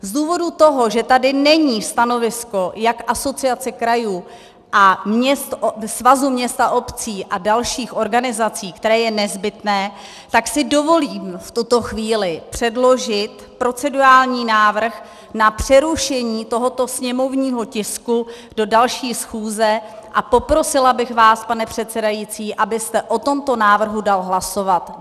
Z důvodu toho, že tady není stanovisko jak Asociace krajů, Svazu měst a obcí a dalších organizací, které je nezbytné, tak si dovolím v tuto chvíli předložit procedurální návrh na přerušení tohoto sněmovního tisku do další schůze a poprosila bych vás, pane předsedající, abyste o tomto návrhu dal hlasovat.